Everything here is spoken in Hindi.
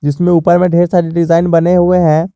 जिसमें ऊपर में ढेर सारे डिजाइन बने हुए हैं।